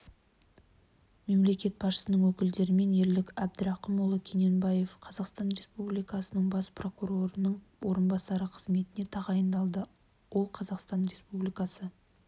мемлекет басшысының өкімдерімен ерлік әбдірақымұлы кененбаев қазақстан республикасы бас прокурорының орынбасары қызметіне тағайындалды ол қазақстан республикасы